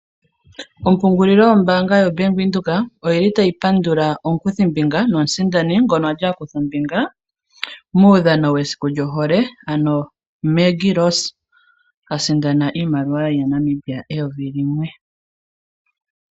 Ompungulilo yombaanga yaBank Windhoek, oyili tayi pandula omukuthimbinga nomusindani ngoka ali akutha ombinga muudhano wohole Maggie Rose asindana iimaliwa N$1000.